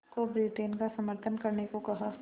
को ब्रिटेन का समर्थन करने को कहा